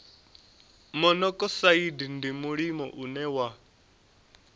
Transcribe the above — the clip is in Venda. monokosaidi ndi mulimo une wa